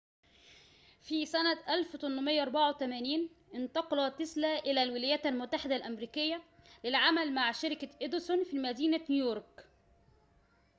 في سنة 1884 انتقل تيسلا إلى الولايات المتحدة الأمريكية للعمل مع شركة إديسون في مدينة نيويورك